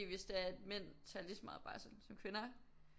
Hvis det er at mænd tager lige så meget barsel som kvinder